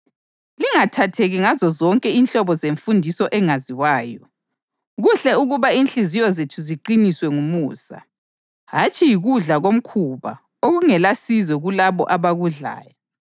Lingathatheki ngazozonke inhlobo zemfundiso engaziwayo. Kuhle ukuba inhliziyo zethu ziqiniswe ngumusa, hatshi yikudla komkhuba okungelasizo kulabo abakudlayo.